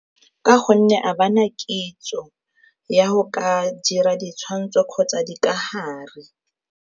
Ka gonne ga bana kitso ya go ka dira ditshwantsho kgotsa dikagare.